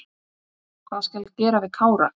Hvað skal gera við Kára?